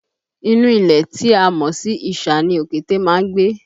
Inú ilẹ̀ tí a mọ̀ sí isà ni òkété máa ń gbé